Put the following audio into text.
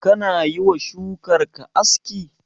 Kana yiwa shukar ka aski?